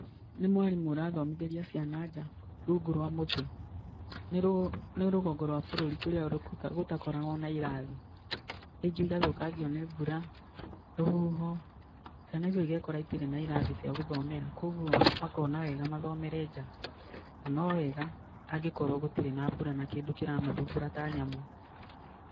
Nĩ mwarimũ ũrathomithĩria ciana nja, rungu rwa mũtĩ, nĩ rũgongo rwa bũrũri kũrĩa gũtakoragwo na irathi, rĩngĩ igathũkangio nĩ mbura, rũhuho ciana icio igekora itirĩ na irathi cia gũthomera, koguo makona wega mathomere nja, na nowega angĩkorwo gũtirĩ na mbura na kĩndũ kĩramathumbũra ta nyamũ.